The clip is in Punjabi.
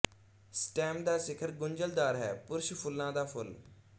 ਸਟੈਮ ਦਾ ਸਿਖਰ ਗੁੰਝਲਦਾਰ ਹੈ ਪੁਰਸ਼ ਫੁੱਲਾਂ ਦਾ ਫੁੱਲ